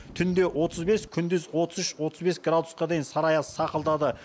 түнде отыз бес күндіз отыз үш отыз бес градусқа дейін сары аяз сақылдады